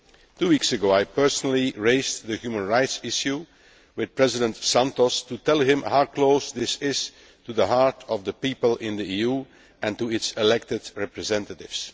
Two weeks ago I personally raised the human rights issued with President Santos to tell him how close this is to the heart of the people in the EU and their elected representatives.